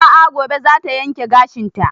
A'a gobe za ta yanke gashin ta